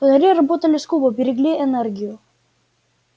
фонари работали скупо берегли энергию